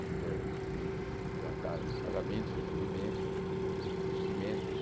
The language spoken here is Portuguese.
Ainda tem que tratar de pagamentos, recebimentos, investimentos.